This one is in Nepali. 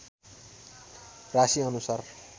राशिअनुसार